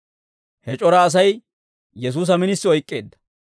He c'ora Asay Yesuusa minisi oyk'k'eedda.